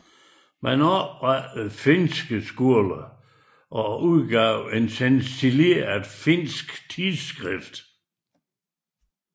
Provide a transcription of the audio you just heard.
Man oprettede finske skoler og udgav et stencileret finsk tidsskrift